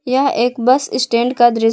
यह एक bus stand का दृश्य--